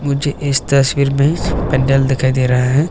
मुझे इस तस्वीर में पंडाल दिखाई दे रहा है।